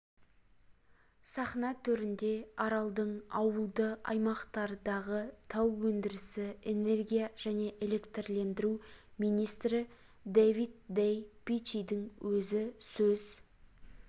сахна төрінде аралдың ауылды аймақтардағы тау өндірісі энергия және электрлендіру министрі дэвид дэй пичидің өзі сөз